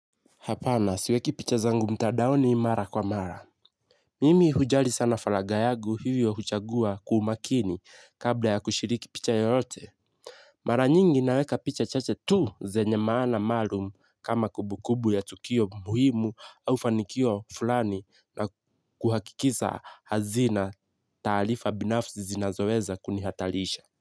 Hapana siweki picha zangu mtadaoni mara kwa mara. Mimi hujali sana faraga yagu hivyo huchagua kwa umakini kabla ya kushiriki picha yoyote. Mara nyingi naweka picha chache tu zenye maana maalum kama kubukubu ya tukio muhimu au fanikio fulani na kuhakikisa hazina taalifa binafsi zinazoweza kunihatalisha.